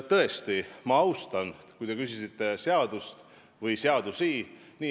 Tõesti, ma austan seadust või seadusi, mille kohta te küsisite.